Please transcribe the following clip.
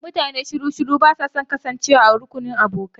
Mutane masu shiru ba su son kasancewa a rukunin abokai.